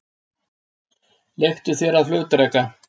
Leiktu þér að flugdreka.